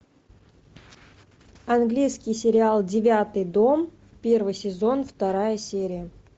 английский сериал девятый дом первый сезон вторая серия